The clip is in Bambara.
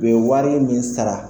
U be ye wari min sara